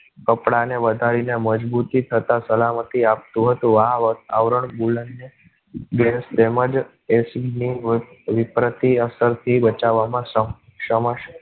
કપડા ને વધારી ને મજબૂતી તથા સલામતી આપ તું હતું. આવરણ બુલ અને gas તેમજ એસિડ ની વિપરતી અસર થી બચાવવા માં.